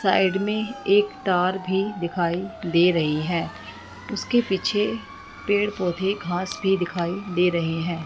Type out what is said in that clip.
Side में एक तार भी दिखाई दे रही है उसके पीछे पेड़ पौधे घास भी दिखाई दे रहे हैं।